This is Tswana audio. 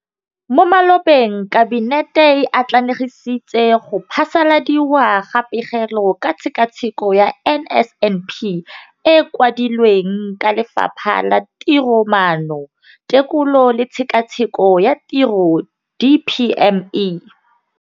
Mo malobeng Kabinete e atlenegisitse go phasaladiwa ga Pegelo ka Tshekatsheko ya NSNP e e kwadilweng ke Lefapha la Tiromaano, Tekolo le Tshekatsheko ya Tiro, DPME].